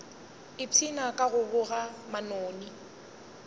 ipshina ka go boga manoni